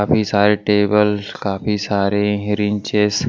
काफी सारे टेबल काफी सारे रिंचेस --